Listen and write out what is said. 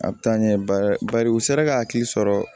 A bɛ taa ɲɛ bari u sera ka hakili sɔrɔ